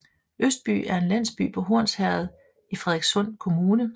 Østby er en landsby på Hornsherred i Frederikssund Kommune